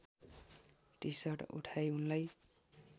T-shirt उठाई उनलाई